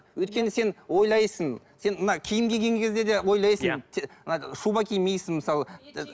өйткені сен ойлайсың сен мына киім киген кезде де ойлайсың мына шуба кимейсің мысалы